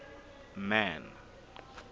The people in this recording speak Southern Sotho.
man